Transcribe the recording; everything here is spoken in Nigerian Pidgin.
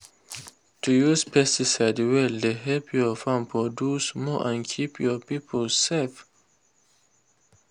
to use pesticide well dey help your farm produce more and keep your people safe.